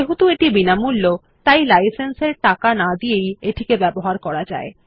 যেহেতু এটি বিনামূল্য তাই লাইসেন্স এর টাকা না দিয়েই এটিকে ব্যবহার করা যায়